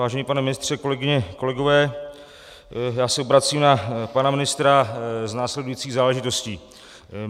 Vážený pane ministře, kolegyně, kolegové, já se obracím na pana ministra s následující záležitostí.